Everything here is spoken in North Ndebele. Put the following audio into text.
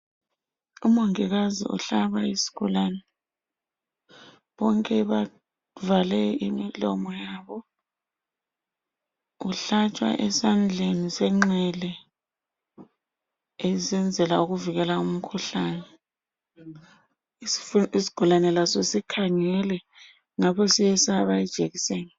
Umongikazi uhlaba isigulane, bonke bavale imilomo yabo, uhlatshwa esandleni senxele esenzela ukuvikela umkhuhlane, isigulane laso sikhangele ngapho siyesaba ijekiseni.